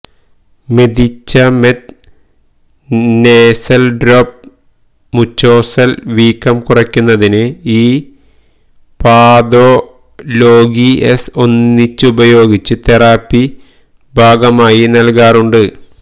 medicament nasal drop mucosa ൽ വീക്കം കുറയ്ക്കുന്നതിന് ഈ പഥൊലൊഗിഎസ് ഒന്നിച്ചുപയോഗിച്ചു് തെറാപ്പി ഭാഗമായി നൽകാറുണ്ട്